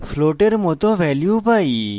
আমরা float মত value পাই